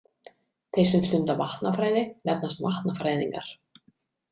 Þeir sem stunda vatnafræði nefnast vatnafræðingar.